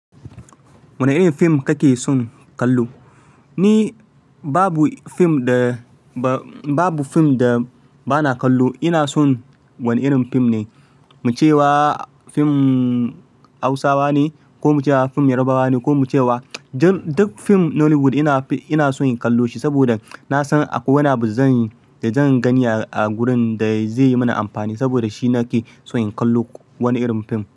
Wane irin fim kake son kallo? Ni babu fim da ba, babu fim da ba na kallo. Ina son wani irin fim ne, muce wa fim Hausawa ne ko muce wa fim Yarbawa ne ko muce wa duk fim Nollywood ina, ina son in kallo shi saboda na san akwai wani abu zan da zan gani a gurin da zai yi mani amfani. Saboda shi ne nake son in kallo kowane irin fim.